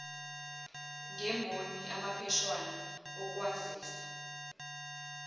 ngemboni amapheshana okwazisa